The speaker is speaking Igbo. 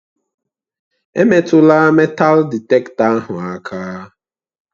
Emetụla meetal dịtektọ ahụ aka!